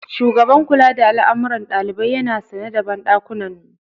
Shugaban kula da al'amuran ɗalibai yana sane da banɗakunan.